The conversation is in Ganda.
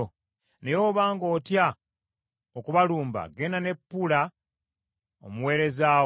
Naye obanga otya okubalumba genda ne Pula omuweerezaawo: